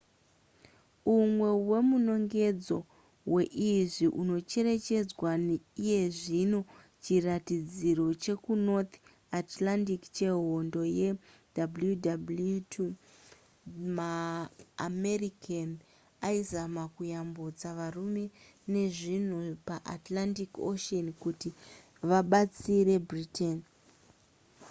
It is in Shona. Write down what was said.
umwe wemunongedzo weizvi unocherechedzwa iyezvino chiratidziro chekunorth atlantic chehondo yewwii maamerican aizama kuyambutsa varume nezvinhu paatlantic ocean kuti vabatsire britain